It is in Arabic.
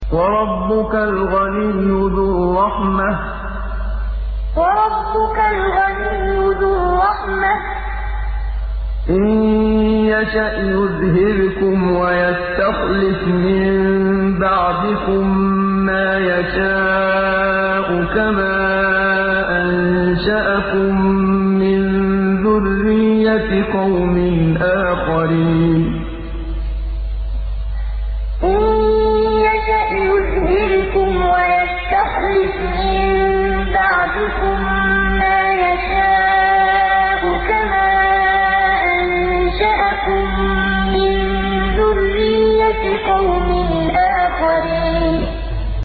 وَرَبُّكَ الْغَنِيُّ ذُو الرَّحْمَةِ ۚ إِن يَشَأْ يُذْهِبْكُمْ وَيَسْتَخْلِفْ مِن بَعْدِكُم مَّا يَشَاءُ كَمَا أَنشَأَكُم مِّن ذُرِّيَّةِ قَوْمٍ آخَرِينَ وَرَبُّكَ الْغَنِيُّ ذُو الرَّحْمَةِ ۚ إِن يَشَأْ يُذْهِبْكُمْ وَيَسْتَخْلِفْ مِن بَعْدِكُم مَّا يَشَاءُ كَمَا أَنشَأَكُم مِّن ذُرِّيَّةِ قَوْمٍ آخَرِينَ